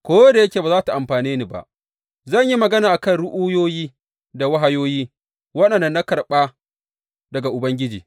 Ko da yake ba za tă amfane ni ba, zan yi magana a kan ru’uyoyi da wahayoyi waɗanda na karɓa daga Ubangiji.